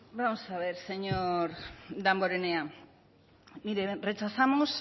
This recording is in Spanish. bueno vamos a ver señor damborenea mire rechazamos